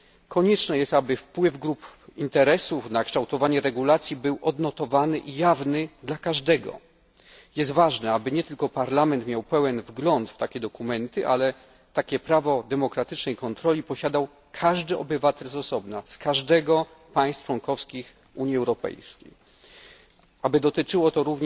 Konieczne jest, aby wpływ grup interesów na kształtowanie regulacji był odnotowany i jawny dla każdego. Jest ważne, aby nie tylko Parlament miał pełen wgląd do takich dokumentów. Prawo demokratycznej kontroli powinni posiadać obywatele wszystkich państw członkowskich Unii Europejskiej, tak aby dotyczyło